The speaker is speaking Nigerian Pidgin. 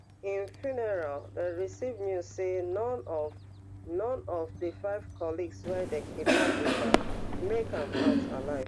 im funeral dem receive news say none of none of di five colleagues wey dem kidnapped wit am make am out alive